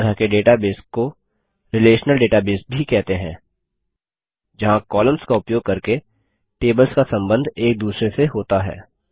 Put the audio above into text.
इस तरह के डेटाबेस को रिलेशनल डेटाबेस भी कहते हैं जहाँ कॉलम्स का उपयोग करके टेबल्स का संबंध एक दूसरे से होता है